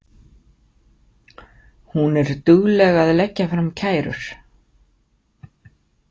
Hún er dugleg að leggja fram kærur.